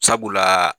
Sabula